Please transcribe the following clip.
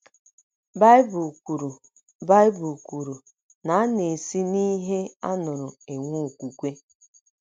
Baịbụl kwuru Baịbụl kwuru na “ a na - esi n’ihe a nụrụ enwe okwukwe. ”